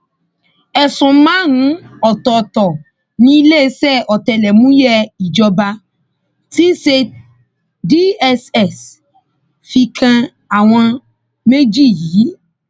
ẹsùn márùnún ọtọọtọ ni iléeṣẹ ọtẹlẹmúyẹ ìjọba tí í ṣe dss fi kan àwọn méjì yìí